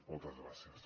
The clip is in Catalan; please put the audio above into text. moltes gràcies